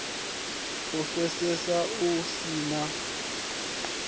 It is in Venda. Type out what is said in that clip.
u pfesesea hu si na